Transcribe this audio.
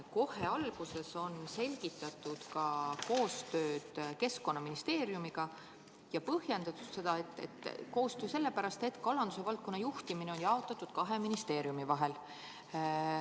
Kohe alguses on selgitatud ka koostööd Keskkonnaministeeriumiga ja põhjendatud, et koostööd on vaja sellepärast, et kalanduse valdkonna juhtimine on jaotatud kahe ministeeriumi vahel.